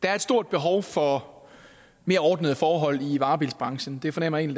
er et stort behov for mere ordnede forhold i varebilsbranchen det fornemmer jeg